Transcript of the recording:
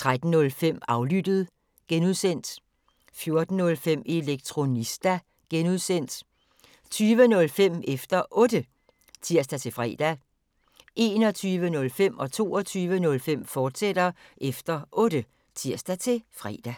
13:05: Aflyttet (G) 14:05: Elektronista (G) 20:05: Efter Otte (tir-fre) 21:05: Efter Otte, fortsat (tir-fre) 22:05: Efter Otte, fortsat (tir-fre)